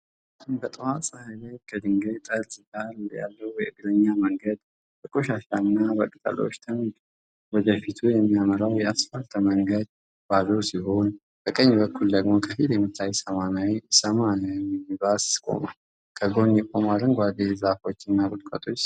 በጠዋት ፀሐይ ላይ ከድንጋይ ጠርዝ ዳር ያለው የእግረኛ መንገድ በቆሻሻና በቅጠሎች ተሞልቷል። ወደ ፊት የሚያመራው የአስፋልት መንገድ ባዶ ሲሆን፤ በቀኝ በኩል ደግሞ ከፊል የሚታይ ሰማያዊ ሚኒባስ ቆሟል። ከጎን የቆሙ አረንጓዴ ዛፎች እና ቁጥቋጦዎች ይስተዋላሉ።